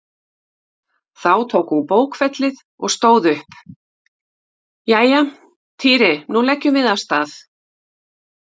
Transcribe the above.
Þá tók hún bókfellið og stóð upp: Jæja, Týri nú leggjum við af stað